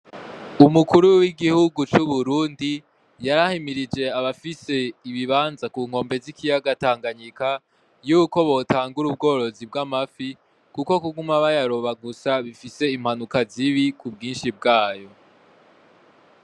Umukuru w'igihugu cu Burundi yarahimirije abafise ibibanza ku nkombe z'ikiyaga Tanganyika yuko botangura ubworozi bwamafi kuko kuguma bayaroba gusa bifise impanuka zibi ku bwishi bwayo.